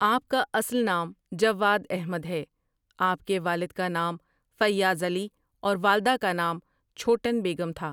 آپ کا اصل نام جواد احمد ہے آپ کے والد کا نام فیاض علی اور والدہ کا نام چھوٹن بیگم تھا ۔